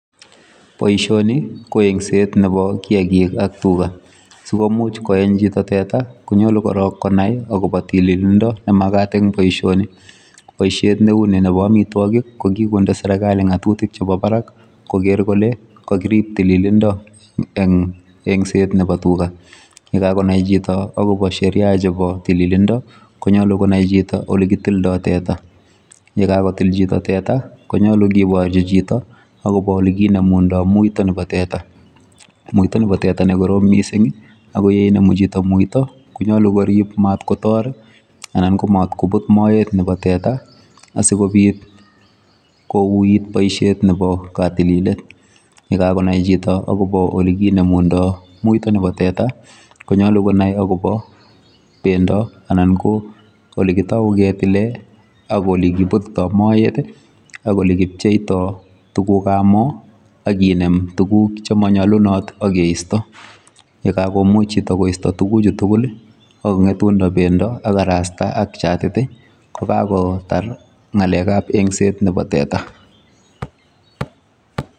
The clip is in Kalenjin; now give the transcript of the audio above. Boishoni ko yengset Nebo kiyaagiik ak tugaa, simuch koyeny chito teta konyoru korong konai akobo tililindo nemakaat en boishooni. Boishet neuni nebo amitwogiik kokindo serkali ngatutik chebo barak kogeer kole kokiriib tililindo en yuton ,ak yengset nebo tuga. Ye kakokonai chito agobo Sheria chebo tililndo konyolu konai chito olekitildoo tetaa. Ye kakotil chito tetaa konyolu kiborchii chito akobo olekinemundoo muito nebo tera, muito nebo teta nekoroom missing akoyenemu chito muito konyolu koriib amat kotoor anan komotkubuut moet nebo teta asikobiit kokuyoo boishet Nebo kotililet. Ye kakonai chito akobo olekkinemundo muito nebo tetaa konyolu konai akobo bendo anan ko olekitaunen ketile ak olekibutitoo moet ak olekipchetoi tuguuk am moo ak kineem tuguuk chemonyolunot ak keistoo. Ye kakomuch chito koistoo tuguchu tugul ak kongetundo bendo ak karastaa ak chatit kokakonai kasit noton nebo yengsetab teta